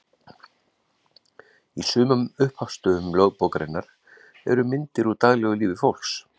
Í sumum upphafsstöfum lögbókarinnar eru myndir úr daglegu lífi fólks.